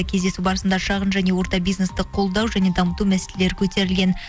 кездесу барысында шағын және орта бизнесті қолдау және дамыту мәселелері көтерілген